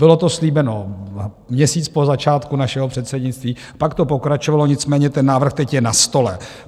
Bylo to slíbeno měsíc po začátku našeho předsednictví, pak to pokračovalo, nicméně ten návrh teď je na stole.